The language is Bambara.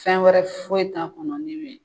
Fɛn wɛrɛ foyi t'a kɔnɔ min me